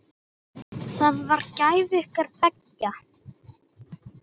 Það var gæfa ykkar beggja.